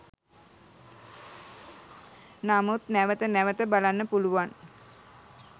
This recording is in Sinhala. නමුත් නැවත නැවත බලන්න පුළුවන්